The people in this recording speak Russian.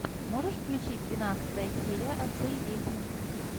можешь включить двенадцатая серия отцы и дети